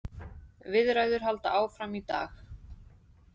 Viðræður halda áfram í dag